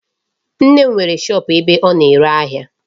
Nne m nwere shop ebe ọ na-ere ahịa.